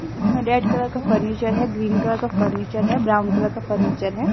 इसमें red colour का furniture है ग्रीन कलर का फर्नीचर है ब्राउन कलर का फर्नीचर है।